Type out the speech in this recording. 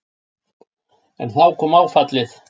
En þá kom áfallið.